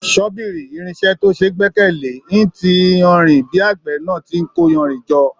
Sọ́bìrì, irinṣẹ́ tí ó ṣeé gbẹ́kẹ̀ le, ń ti iyanrìn bí àgbẹ̀ náà tí n kó iyanrìn jọ.